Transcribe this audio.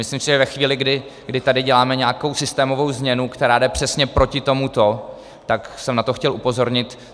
Myslím si, že ve chvíli, kdy tady děláme nějakou systémovou změnu, která jde přesně proti tomuto, tak jsem na to chtěl upozornit.